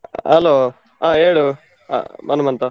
Hello , ಹಾ ಹೇಳು ಅಹ್ ಹನುಮಂತ.